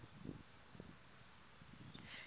yeyom hle kanyawo